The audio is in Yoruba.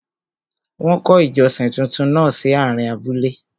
Wọ́n kọ́ ìjọsìn túntún náà sí àárín abúlé.